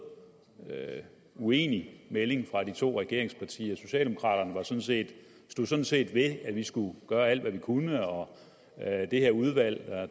uenige meldinger fra to af regeringspartierne socialdemokraterne stod sådan set ved at vi skulle gøre alt hvad vi kunne og at det her udvalg